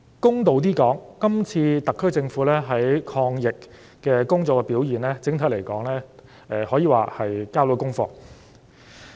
公道一點說，今次特區政府在抗疫工作方面的表現，整體而言，可說是交到功課。